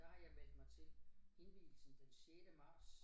Der har jeg meldt mig til indvigelsen den sjette marts